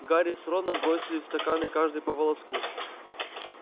гарри с роном бросили в стаканы каждый по волоску